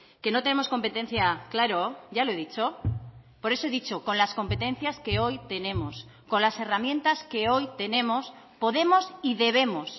que no tenemos competencia claro ya lo he dicho por eso he dicho con las competencias que hoy tenemos con las herramientas que hoy tenemos podemos y debemos